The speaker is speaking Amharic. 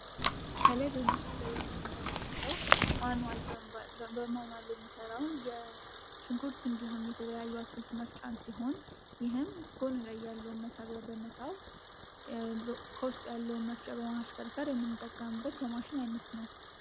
ከላይ በምስሉ ላይ የምንመለከተው በማንዋል የሚሰራውን የሽንኩርት እንዲሁም የተለያዩ አትክልት መፍጫን ሲሆን ይህም ጎን ላይ ያለውን መሳቢያ በመሳብ ከውስጥ ያለውን መፍጫ በማሽከርከር የመጠቀም የማሽን አይነት ነው።